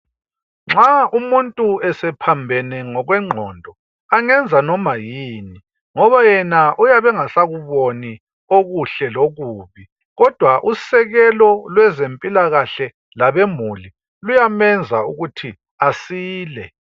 Nxa umuntu esephambene ngokwengqondo angenza noma yini ngoba yena uyabengasakuboni okuhle lokubi kodwa usekelo lwezempilakahle labemuli luyamenza ukuthi asile.